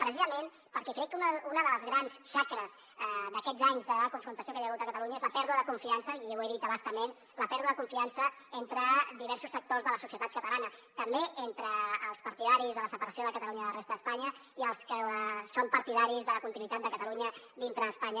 precisament perquè crec que una de les grans xacres d’aquests anys de confrontació que hi ha hagut a catalunya és la pèrdua de confiança i ho he dit a bastament entre diversos sectors de la societat catalana també entre els partidaris de la separació de catalunya de la resta d’espanya i els que són partidaris de la continuïtat de catalunya dintre d’espanya